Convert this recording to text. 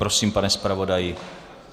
Prosím, pane zpravodaji.